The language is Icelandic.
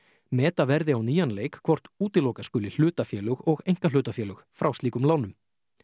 meta verði á nýjan leik hvort útiloka skuli hlutafélög og einkahlutafélög frá slíkum lánum